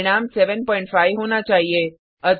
परिणाम 75 होना चाहिए